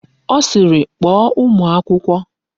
Ọ sịịrị, kpọọ ụmụ akwụkwọ!